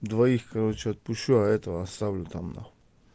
двоих короче отпущу а это оставлю там нахуй